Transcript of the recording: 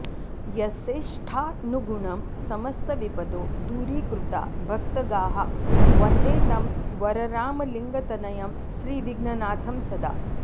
यस्येष्टानुगुणं समस्तविपदो दूरीकृता भक्तगाः वन्दे तं वररामलिङ्गतनयं श्रीविघ्ननाथं सदा